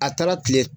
A taara kile